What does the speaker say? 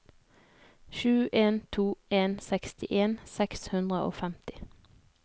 sju en to en sekstien seks hundre og femti